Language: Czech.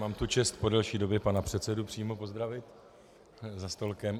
Mám tu čest po delší době pana předsedu přímo pozdravit za stolkem.